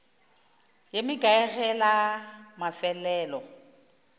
ye mekae ge la mafelelo